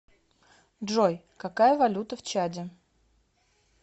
джой какая валюта в чаде